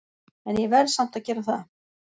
En ég verð samt að gera það.